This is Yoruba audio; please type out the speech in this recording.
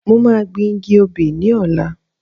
Mo máa gbìn igi obi ní ọ̀la